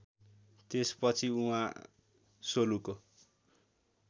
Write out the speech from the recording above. त्यसपछि उहाँ सोलुको